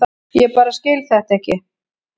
Ég bara skil þetta ekki.